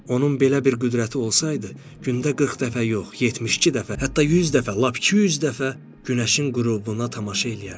Onun belə bir qüdrəti olsaydı, gündə 40 dəfə yox, 72 dəfə, hətta 100 dəfə, lap 200 dəfə günəşin qürubuna tamaşa eləyərdi.